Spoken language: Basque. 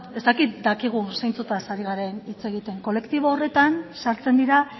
ez dakit dakigun zeintzutaz ari garen hitz egiten kolektibo horretan sartzen dira